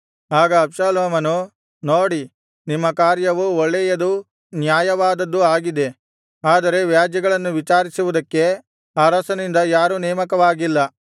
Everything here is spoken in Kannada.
ಆಗ ಅಬ್ಷಾಲೋಮನು ನೋಡಿ ನಿಮ್ಮ ಕಾರ್ಯವು ಒಳ್ಳೆಯದೂ ನ್ಯಾಯವಾದದ್ದೂ ಆಗಿದೆ ಆದರೆ ವ್ಯಾಜ್ಯಗಳನ್ನು ವಿಚಾರಿಸುವುದಕ್ಕೆ ಅರಸನಿಂದ ಯಾರೂ ನೇಮಕವಾಗಿಲ್ಲ